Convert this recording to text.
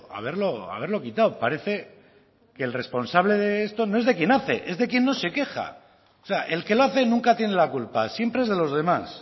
haberlo haberlo quitado parece que el responsable de esto no es de quien hace es de quien no se queja o sea el que lo hace nunca tiene la culpa siempre es de los demás